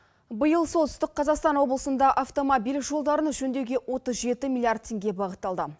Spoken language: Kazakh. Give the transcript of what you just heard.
биыл солтүстік қазақстан облысында автомобиль жолдарын жөндеуге отыз жеті миллиард теңге бағытталды